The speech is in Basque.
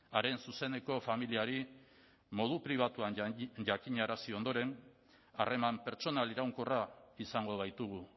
haren zuzeneko familiari modu pribatuan jakinarazi ondoren harreman pertsonal iraunkorra izango baitugu